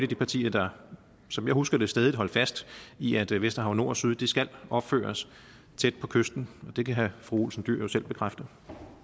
de partier der som jeg husker det stædigt holdt fast i at vesterhav nord og vesterhav syd skal opføres tæt på kysten det kan fru pia olsen dyhr jo selv bekræfte